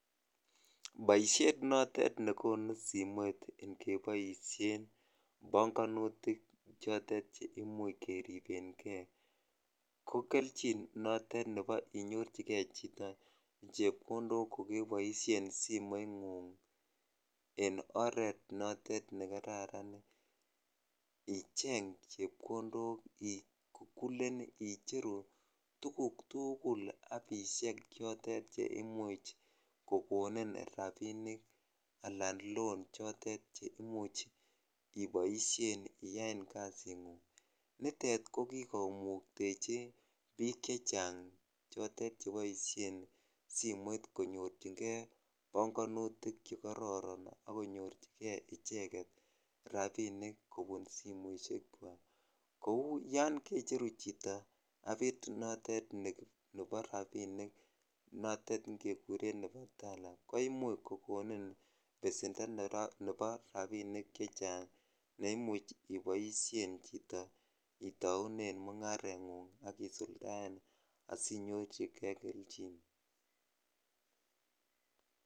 Boishet notetnekonu simoit ngeboishen bongonutik chotet cheimuch keribenge ko kelchin notet nebo inyorchike chito chepkondok ko keboishen simoingung en oreet notet nekararanicheng chepkondok ikukulen icheru tukuk tukul appishek chotet cheimuch kokonin rabinik alaan loan cheimuch iboishen iyaen kasingun, nitet ko kikomuktechi biik chechang chotet cheboishen simoit konyorchike bogonutik chekororon ak konyorchike icheket rabinik kobun simoishekwak, kouu yoon kechceru chito appit notet nebo rabinik notet nekikuren nebo Tala ko imuch kokonin besendo nebo rabinik cechang neimuch iboishen chito itounen mungarengung chito isuldaen asinyorchike kelchin.